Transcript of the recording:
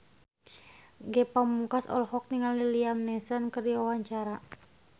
Ge Pamungkas olohok ningali Liam Neeson keur diwawancara